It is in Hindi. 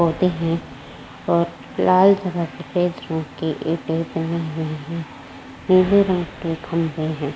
पौधे हैं और लाल कलर के पीले रंग के खम्बे हैं।